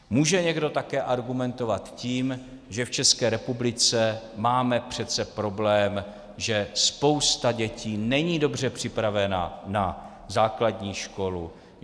Může někdo také argumentovat tím, že v České republice máme přece problém, že spousta dětí není dobře připravena na základní školu.